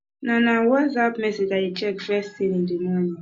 na na whatsapp messages i dey check first thing in the morning